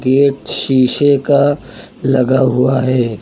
Gate शीशे का लगा हुआ है।